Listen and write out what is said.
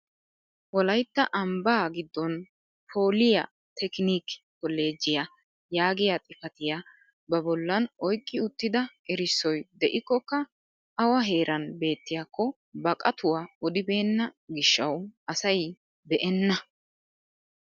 Woaytta ambbaa giddon pooliy tekink kolleejjiyaa yaagiyaa xifatiyaa ba bollan oyqqi uttida erissoy de'ikkoka awa heeran beettiyaakko ba qatuwaa odibenna gishshawu asay beenna!